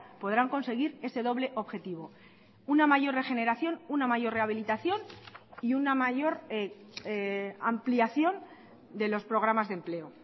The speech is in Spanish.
podrán conseguir ese doble objetivo una mayor regeneración una mayor rehabilitación y una mayor ampliación de los programas de empleo